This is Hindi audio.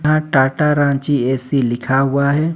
टाटा रांची ए_सी लिखा हुआ है।